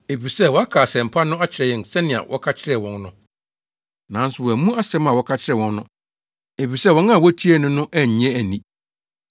Efisɛ wɔaka asɛmpa no akyerɛ yɛn sɛnea wɔka kyerɛ wɔn no. Nanso wɔammu asɛm a wɔka kyerɛɛ wɔn no, efisɛ wɔn a wotiee no no annye anni.